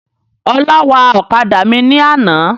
Ọlá wa ọ̀kadà mi ní àná.